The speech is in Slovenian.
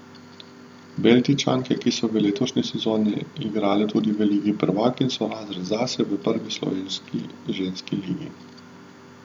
Beltinčanke, ki so v letošnji sezoni igrale tudi v Ligi prvakinj, so razred zase v prvi slovenski ženski ligi.